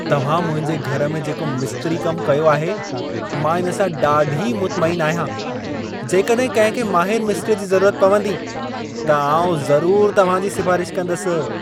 तव्हां मुंहिंजे घर में जेको मिस्त्री कम कयो आहे, मां इन सां ॾाढी मुतमइन आहियां। जेकॾहिं कंहिं खे माहिरु मिस्त्रीअ जी ज़रूरत पवंदी, त आउं ज़रूर तव्हां जी सिफ़ारिश कंदसि।